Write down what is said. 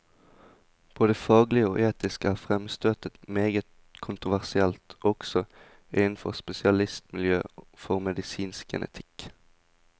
Både faglig og etisk er fremstøtet meget kontroversielt, også innenfor spesialistmiljøet for medisinsk genetikk.